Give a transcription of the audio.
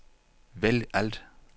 vælg alt